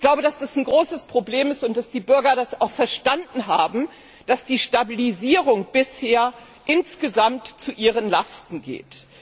Ich glaube, dass das ein großes Problem ist und dass die Bürger auch verstanden haben, dass die Stabilisierung bisher insgesamt zu ihren Lasten geht.